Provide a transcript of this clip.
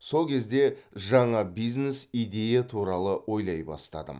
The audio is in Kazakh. сол кезде жаңа бизнес идея туралы ойлай бастадым